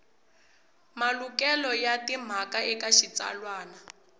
malukelo ya timhaka eka xitsalwana